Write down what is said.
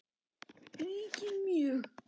ríkir mjög.